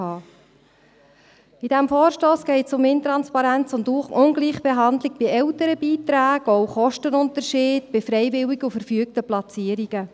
In diesem Vorstoss geht es um Intransparenz und Ungleichbehandlung bei Elternbeiträgen und auch um Kostenunterschiede bei freiwilligen und verfügten Platzierungen.